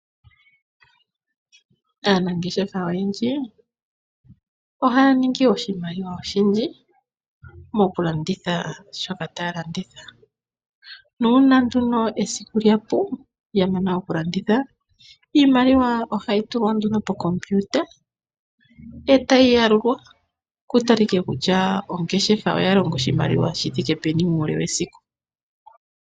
Aanangeshefa oyendji ohaya ningi oshimaliwa oshindji, mokulanditha shoka taya landitha nuuna nduno esiku lyapu, yamana okulanditha iimaliwa ohayi tulwa nduno pomashina etayi yalulwa , kutalike kutya ongeshefa oyaninga oshimaliwa shithike peni mesiku.